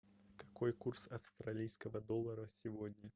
какой курс австралийского доллара сегодня